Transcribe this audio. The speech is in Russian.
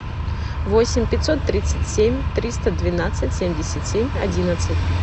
восемь пятьсот тридцать семь триста двенадцать семьдесят семь одиннадцать